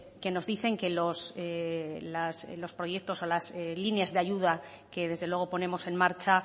que nos dicen que los proyectos o las líneas de ayuda que desde luego ponemos en marcha